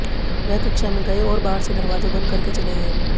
वह कक्षा में गए और बाहर से दरवाजा बंद करके चले गए